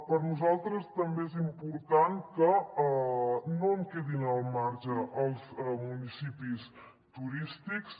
per nosaltres també és important que no en quedin al marge els municipis turístics